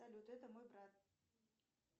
салют это мой брат